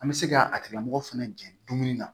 An bɛ se ka a tigilamɔgɔ fana jɛn dumuni na